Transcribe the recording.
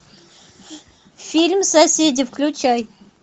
фильм соседи включай